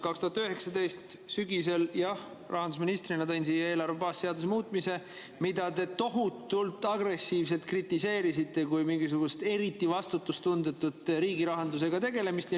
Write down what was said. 2019 sügisel jah, rahandusministrina tõin siia eelarve baasseaduse muutmise, mida te tohutult agressiivselt kritiseerisite kui mingisugust eriti vastutustundetut riigirahandusega tegelemist.